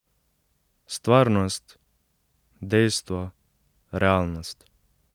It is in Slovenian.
Stvarnost, dejstvo, realnost.